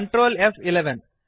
control फ्11